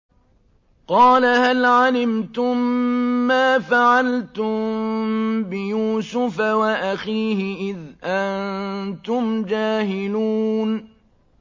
قَالَ هَلْ عَلِمْتُم مَّا فَعَلْتُم بِيُوسُفَ وَأَخِيهِ إِذْ أَنتُمْ جَاهِلُونَ